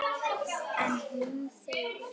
En hún þegir.